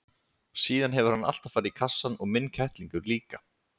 Síðan hefur hann alltaf farið í kassann og minn kettlingur líka.